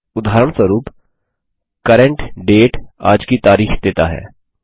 उदाहरणस्वरुप CURRENT DATE आज की तारिख देता है